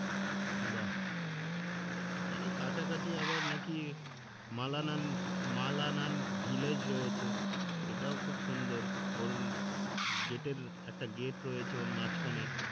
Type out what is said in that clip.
বাহ্ ওখানে কাছাকাছি আবার নাকি মালানান মালানান ভিলেজ রয়েছে সেটাও খুহব সুন্দর ওর গেটের একটা গেট রয়েছে ওর মাঝখানে